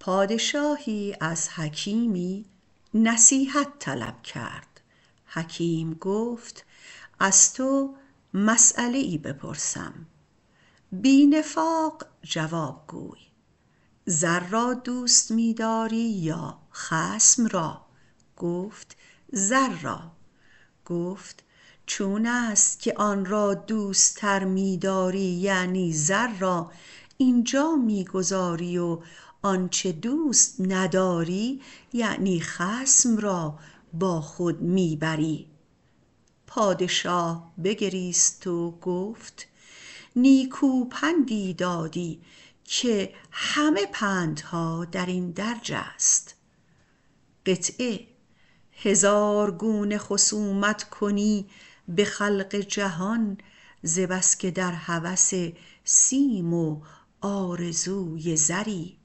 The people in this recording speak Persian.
پادشاهی از حکیمی طلب نصیحت کرد حکیم گفت از تو مسیله ای پرسم بی نفاق جواب گوی زر را دوستتر می داری یا خصم را گفت زر را گفت چونست که آن را دوستتر می داری - یعنی زر را - اینجا می گذاری و آنچه دوست نمی داری - یعنی خصم را - با خود می بری پادشاه بگریست و گفت نیکو پندی دادی که همه پندها در این درج است هزار گونه خصومت کنی به خلق جهان ز بس که در هوس سیم و آرزوی زری